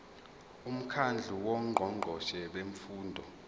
umkhandlu wongqongqoshe bemfundo